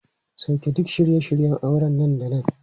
Sauke duk shirye shiryen auren nan da nan!